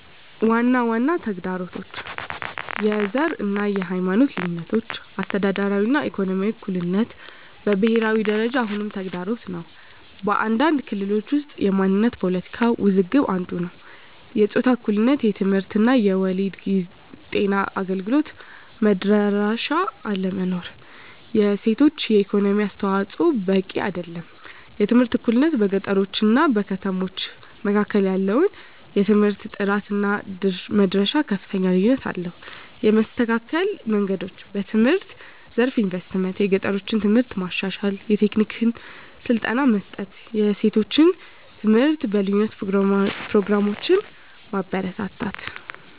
ዋና ዋና ተግዳሮቶች፦ # የዘር እና የሃይማኖት ልዩነቶች - አስተዳደራዊ እና ኢኮኖሚያዊ እኩልነት በብሄራዊ ደረጃ አሁንም ተግዳሮት ነው። በአንዳንድ ክልሎች ውስጥ የማንነት ፖለቲካ ውዝግብ አንዱ ነዉ። #የጾታ እኩልነት የትምህርት እድል እና የወሊድ ጤና አገልግሎት መድረሻ አለመኖር። የሴቶች የኢኮኖሚ አስተዋፅዖ በቂ አይደለም። #የትምህርት እኩልነት - በገጠሮች እና ከተሞች መካከል ያለው የትምህርት ጥራት እና መድረሻ ከፍተኛ ልዩነት አለው። የመስተካከል መንገዶች፦ #በትምህርት ዘርፍ ኢንቨስትመንት - የገጠሮችን ትምህርት ማሻሻል፣ የቴክኒክ ስልጠና መስጠት፣ የሴቶች ትምህርት በልዩ ፕሮግራሞች ማበረታታት።